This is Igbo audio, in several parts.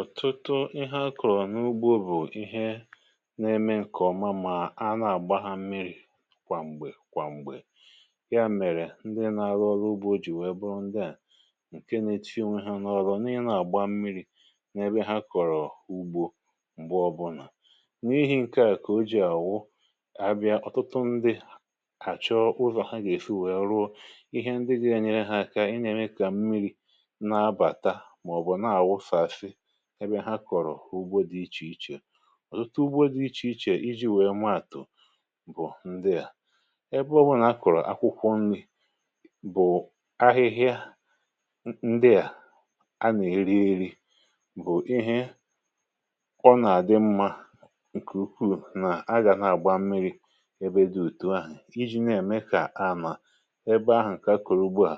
ọ̀tụtụ ihe a kọ̀rọ̀ n’ugbȯ bụ̀ ihe na-èmè ǹkè ọma, mà a nà-àgba ha mmiri̇ kwa m̀gbè kwa m̀gbè. ya mèrè ndị na-arụ ọrụ ugbȯ jì wèe bụrụ ndịà ǹke na-èti onwe ha n’ọrụ n’ihe, na-àgba mmiri̇ n’ebe ha kọ̀rọ̀ ugbȯ. m̀gbè ọbụlà, n’ihì̇ ihe ǹkè ojii àwụ, ya bịara, ọ̀tụtụ ndị àchọ ụzọ̀ ha gà-èfu, wèe rụọ ihe ndị gì nyere ha aka. ị nà-ème kà mmiri̇ ebe ha kọ̀rọ̀ ugbȯ dị iche iche, ọ̀tụtụ ugbȯ dị iche iche iji̇ nwèe maàtụ̀ bụ̀ ndịà ebe ọbụnà a kọ̀rọ̀ akwụkwọ nri̇ — bụ̀ ahịhịa ndịà a nà-èri ėri̇, bụ̀ ihe ọ nà-àdị mmȧ ǹkè ukwuù. nà-aga na-àgba mmiri̇ ebe dị òtù ahù, iji̇ na-ème kà ànà ebe ahụ̀, ǹkè akụ̀rụ̀ ugbuà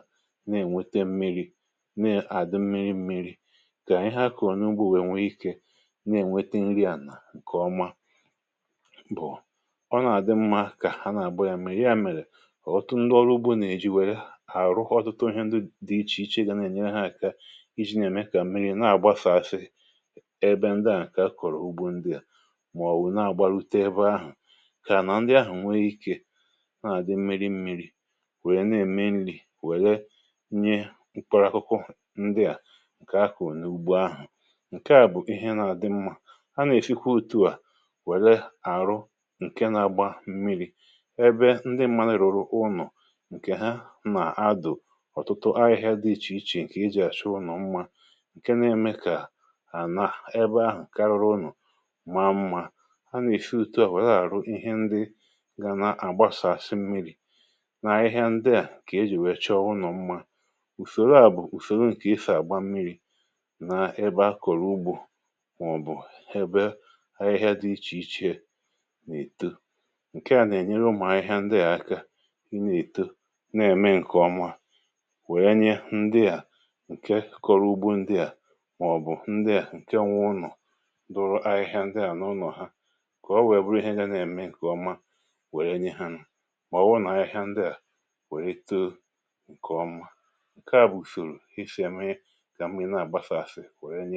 na-ènwete mmiri̇, na-ènwete nri̇ à nà ǹkè ọma. bụ̀ ọ nà-àdị mmȧ kà ha nà-àgba ya mmiri̇. ya mèrè ọ̀tụtụ ndị ọrụ ugbȯ na-èji wèré àhụ̀rụkọ̀ ọ̀tụtụ ihe ndị dị iche iche gà na-ènye ha aka iji̇ nà-èmekà mmiri̇ na-àgbasasị ebe ndị à ǹkè a kọ̀rọ̀ ugbȯ ndị à, màọ̀bụ̀ na-àgba lute ebe ahụ̀, kà nà ndị ahụ̀ ǹwè ikė na-àdị mmiri̇ mmiri̇, wèrè na-ème nri̇ wèré nye mkpọrọkụkụ. ndị à ǹkè à bụ̀ ihe nà-àdị mmȧ, a nà-èfikwa otu̇ à wèle àrụ ǹkè nà-àgba mmiri̇ ebe ndị mmȧ nà-èrùrù ụnọ̀, ǹkè ha nà-adụ̀ ọ̀tụtụ ahịhịa dị iche iche ǹkè i jì àchọ ụnọ̀ mmȧ, ǹkè na-èmè kà ànà ebe ahụ̀ kàrìrụ ụnọ̀, maa mmȧ. um a nà-èfie ùtù à wèle àrụ ihe ndị gà nà-àgbasàsị mmiri̇ n’ahịhịa ndị à, kà ejì wèe chọọ ụnọ̀ mmȧ. ùfèrè a bụ̀ ùfèrè ǹkè ịfà àgba mmiri̇, màọ̀bụ̀ ebe ahịhịa dị iche iche n’èto, ǹkè à nà-ènyere ụmụ̀ ahịhịa ndị à aka, ị na-èto, na-ème ǹkè ọma, wèe nye ndị à ǹke kọ̀rọ̀ ugbȯ ndị à, màọ̀bụ̀ ndị à ǹke nwa ụnọ̀ dụrụ ahịhịa ndị à n’ụnọ̀ ha, kà o nwè, wèe bụrụ ihe nye na-ème ǹkè ọma, wèe nye ha nọ̀, màọ̀wụrụ n’ahịhịa ndị à, wèe tò ǹkè ọma. ǹkè a bụ̀ shòrò ifè mee, a kwè nye.